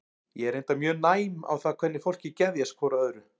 Ég er reyndar mjög næm á það hvernig fólki geðjast hvoru að öðru.